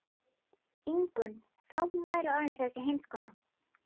Ingunn þó hún væri orðin þessi heimskona.